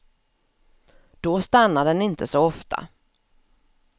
Då stannar den inte så ofta.